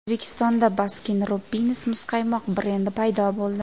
O‘zbekistonda Baskin Robbins muzqaymoq brendi paydo bo‘ldi.